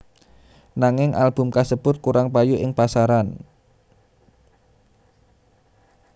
Nanging album kasebut kurang payu ing pasaran